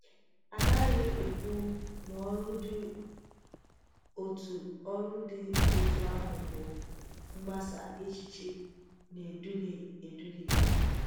A gaghị ekwu na ọrụ dị otú ọrụ dị otú àhụ bụ “mgbasa èchìchè na-eduhie eduhie.”